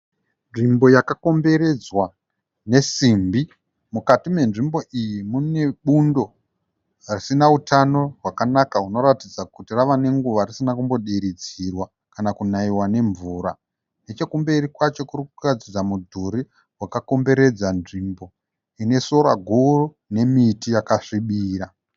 Nzvimbo yakakomberedwa nesimbi .Mukati menzvimbo iyi mune bundo risina utano hwakanaka hunoratidza kuti rave nenguva huru risina kumbodiridziwa kana kunaiwa nemvura .Nechekumberi kwacho kurikuratidza mudhuri wakakomberedza nzvimbo ine sora guru nemiti yakasvibira.